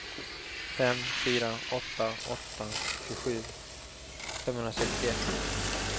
fem fyra åtta åtta tjugosju femhundrasextioett